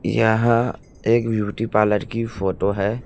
यहां एक beauty parlour की फोटो है।